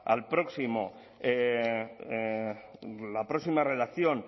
a la próxima redacción